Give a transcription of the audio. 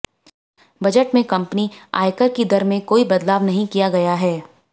budget में company आयकर की दर में कोई बदलाव नहीं किया गया है